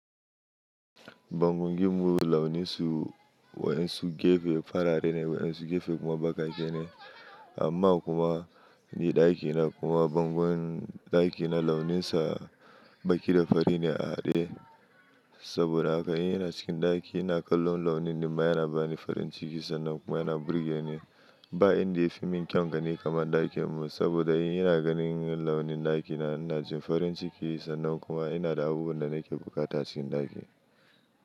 Bangon gem mu launin su, waɗansu gefe farare ne, waɗansu gefe kuma bakake ne. Amma kuma ni ɗaki na kuma bangon ɗaki na launinsa baƙi da fari ne a haɗe. Saboda haka in yana cikin ɗaki ina kallon launin nan ma yana bani farin ciki sannan kuma yana burge ni. Ba inda ya fi min kyaun gani kamar ɗakin mu saboda in yana ganin launin ɗaki na ina jin farin ciki sannan kuma ina da abubuwan da nake buƙata cikin ɗaki.